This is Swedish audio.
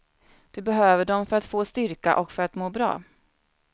Du behöver dem för att få styrka och för att må bra.